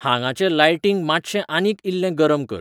हांगाचें लायटींग मात्शें आनीक इल्लें गरम कर